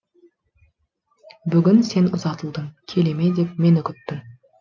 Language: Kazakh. бүгін сен ұзатылдың келеме деп мені күттің